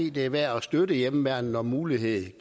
i det er værd at støtte hjemmeværnet når muligheden